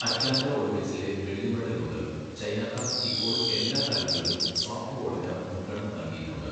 Atlanta ഒളിമ്പിക്സിലെ വെള്ളി medal മുതൽ, ചൈനക്കാർ ഇപ്പോൾ എല്ലാ തലങ്ങളിലും സോഫ്റ്റ്ബോളിന് മുൻഗണന നൽകിയിട്ടുണ്ട്.